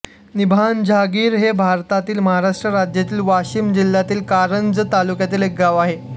निंभाजहांगिर हे भारतातील महाराष्ट्र राज्यातील वाशिम जिल्ह्यातील कारंजा तालुक्यातील एक गाव आहे